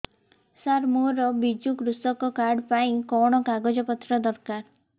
ସାର ମୋର ବିଜୁ କୃଷକ କାର୍ଡ ପାଇଁ କଣ କାଗଜ ପତ୍ର ଦରକାର